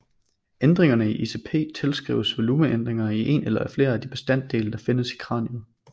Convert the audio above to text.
Ændringerne i ICP tilskrives volumeændringer i en eller flere af de bestanddele der findes i kraniet